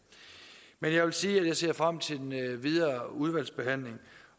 men jeg vil sige at jeg ser frem til den videre udvalgsbehandling